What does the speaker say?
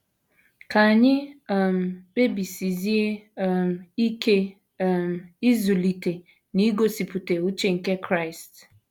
Ka anyị um kpebisizie um ike um ịzụlite na igosipụta uche nke Kraịst.